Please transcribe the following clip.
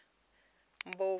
mpofu